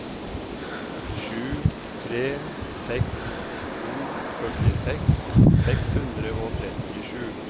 sju tre seks to førtiseks seks hundre og trettisju